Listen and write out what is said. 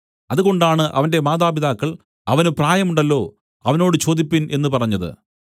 അതുകൊണ്ടാണ് അവന്റെ മാതാപിതാക്കൾ അവന് പ്രായം ഉണ്ടല്ലോ അവനോട് ചോദിപ്പിൻ എന്നു പറഞ്ഞത്